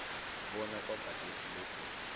bona kwagadesi lokhu